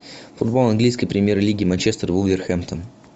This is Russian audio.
футбол английской премьер лиги манчестер вулверхэмптон